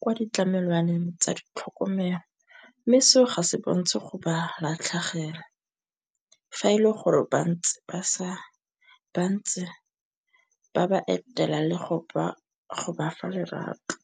kwa ditlamelwana teng tsa ditlhokomelo, mme seo ga se bontsi go ba latlhegelwa. Fa e le gore bantse ba ba etela le go ba fa lerato.